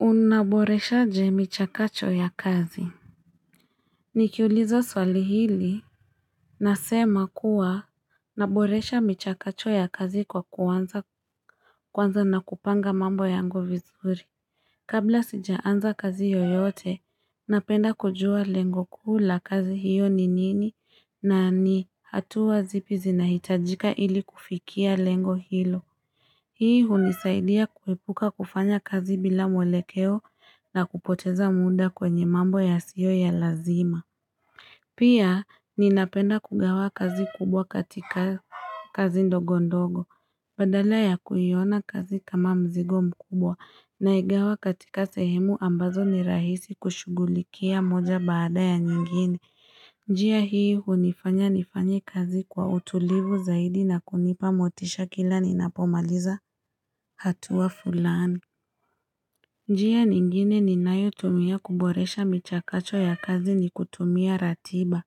Unaboreshaje michakacho ya kazi Nikiuliza swali hili Nasema kuwa Naboresha michakacho ya kazi kwa kwanza na kupanga mambo yango vizuri Kabla sijaanza kazi yoyote napenda kujua lengo kuu la kazi hiyo ni nini na ni hatuwa zipi zinahitajika ili kufikia lengo hilo Hii hunisaidia kuwepuka kufanya kazi bila mwelekeo na kupoteza muunda kwenye mambo yasiyo ya lazima. Pia ninapenda kugawa kazi kubwa katika kazi ndogo ndogo. Badala ya kuyiona kazi kama mzigo mkubwa naigawa katika sehemu ambazo ni rahisi kushugulikia moja baada ya nyingine. Njia hii hunifanya nifanyi kazi kwa utulivu zaidi na kunipa motisha kila ninapomaliza. Hatua fulani. Njia ningine ninayotumia kuboresha michakacho ya kazi ni kutumia ratiba.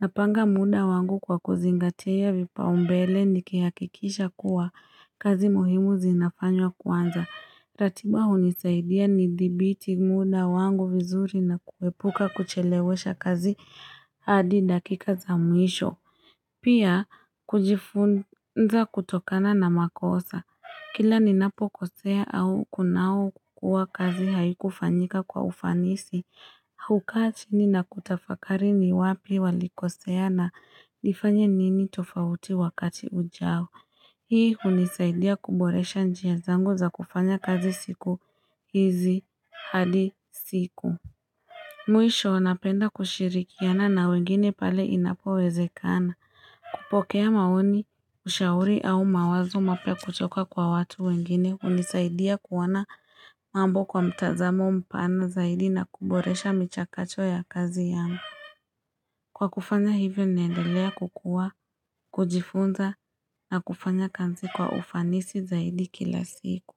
Napanga muda wangu kwa kuzingatia vipaumbele nikiakikisha kuwa kazi muhimu zinafanywa kwanza. Ratiba unisaidia nidhibiti muda wangu vizuri na kuepuka kuchelewesha kazi hadi dakika za mwisho. Pia kujifunza kutokana na makosa. Kila ninapo kosea au kunao kua kazi haikufanyika kwa ufanisi. Huka chini nakutafakari ni wapi walikosea na nifanye nini tofauti wakati ujao. Hii unisaidia kuboresha njia zangu za kufanya kazi siku hizi hadi siku Mwisho napenda kushirikiana na wengine pale inapo wezekana kupokea maoni ushauri au mawazo mapya kutoka kwa watu wengine unisaidia kuwana mambo kwa mtazamo mpana zaidi na kuboresha michakacho ya kazi yangu Kwa kufanya hivyo niendelea kukua, kujifunza na kufanya kanzi kwa ufanisi zaidi kila siku.